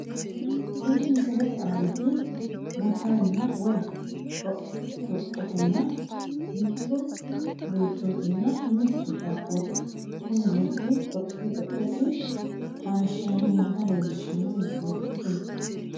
Tini misilete aaniti motoretenna woy dhoqqi dhoqqetenna mitto beetootinna mitto qaaqqooti kuni beettu dhoqqi dhoqqesi haayishshiranni noota leellishshano misileeti tini.